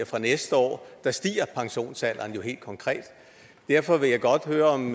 fra næste år stiger pensionsalderen jo helt konkret derfor vil jeg godt høre om